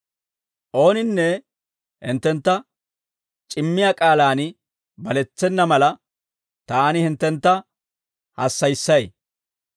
Ooninne hinttentta c'immiyaa k'aalaan baletsena mala, taani hinttentta hassayissay.